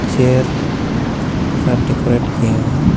Chair सब decorate किये हुई हे.